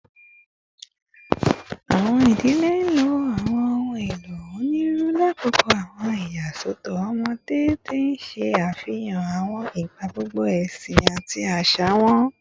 Awọn idile lo awọn ohun elo oniruuru lakoko awọn iyasọtọ ọmọde, ti n ṣe afihan awọn igbagbọ ẹsin ati aṣa wọn